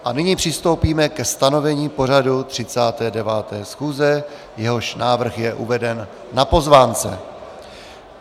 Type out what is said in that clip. A nyní přistoupíme ke stanovení pořadu 39. schůze, jehož návrh je uveden na pozvánce.